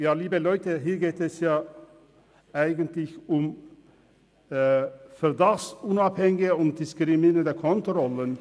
Liebe Leute, hier geht es eigentlich um unabhängige und nichtdiskriminierende Kontrollen.